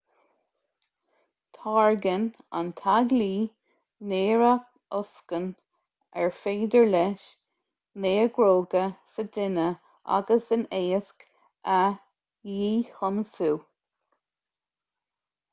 táirgeann an t-algaí néarathocsain ar féidir leis néaróga sa duine agus in éisc a dhíchumasú